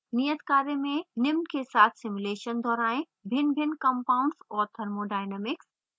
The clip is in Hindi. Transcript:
नियत कार्य में निम्न के साथ simulation दोहरायें: भिन्नभिन्न compounds और thermodynamics